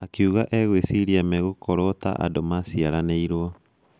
Akiuga egwĩciria megũkorwo ta andũ maciaranĩrwo.